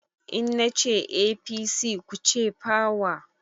In na ce APC, ku ce "power"